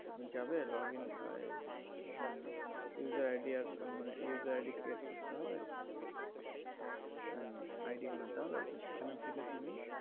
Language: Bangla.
যাবে log in ওই হম usre ID আস, মানে user ID create করতে হবে ID বানাতে হবে তো সেখানের থেকে তুমি,